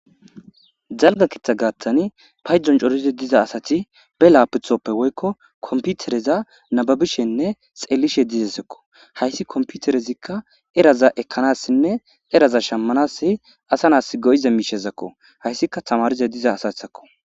jalga kiththa gaattani payon corizi diza asati be laaputhoppe woykko komputereza nababishenne xeelishe dizesikko hayssi komputerezikka eraza ekkanassinne eraza shammanasi asanas go7ize miishezakko hayssikka tamarize diza asathakko